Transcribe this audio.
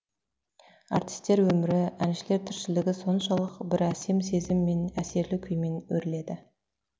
артистер өмірі әншілер тіршілігі соншалық бір әсем сезіммен әсерлі күймен өріледі